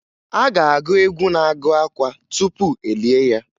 A ga-agụ egwu na-agụ akwa tupu e lie ya